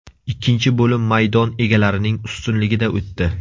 Ikkinchi bo‘lim maydon egalarining ustunligida o‘tdi.